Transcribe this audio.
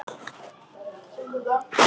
Hvar kjarnar þú þig heima?